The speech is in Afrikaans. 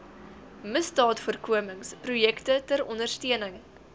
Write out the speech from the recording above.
misdaadvoorkomingsprojekte ter ondersteuning